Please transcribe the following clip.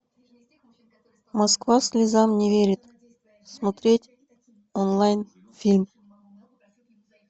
москва слезам не верит смотреть онлайн фильм